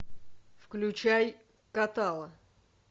включай катала